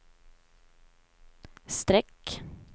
streck